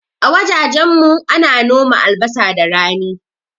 A wajajen mu ana noma albasa da rani